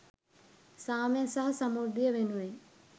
සාමය සහ සමෘද්ධිය වෙනුවෙන්